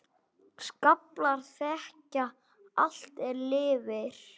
Skaflar þekja allt er lifir.